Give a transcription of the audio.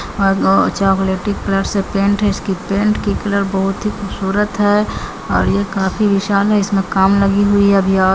और वो chocolaty colour से पेंट है इसकी पेंट की कलर बहुत ही खूबसूरत है और ये काफी निशान है इसमें काम लगी हुई है अभी और--